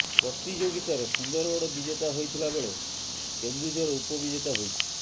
ପ୍ରତିଯୋଗିତାରେ ସୁନ୍ଦରଗଡ଼ ବିଜେତା ହୋଇଥିଲାବେଳେ କେନ୍ଦୁଝର ଉପ ବିଜେତା ହୋଇଛି